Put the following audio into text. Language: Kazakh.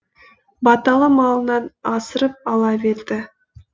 баталы малынан асырып ала берді